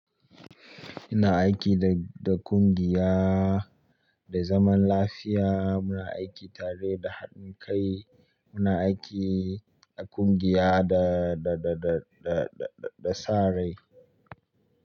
Ina aiki da, da kungiya da zaman lafiya. Muna aiki tare da haɗin kai. Ima aiki a kungiya da sa rai.